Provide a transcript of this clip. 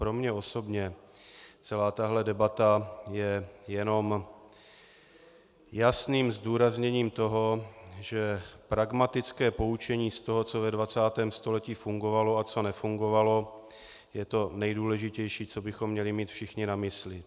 Pro mě osobně celá tahle debata je jenom jasným zdůrazněním toho, že pragmatické poučení z toho, co ve 20. století fungovalo a co nefungovalo, je to nejdůležitější, co bychom měli mít všichni na mysli.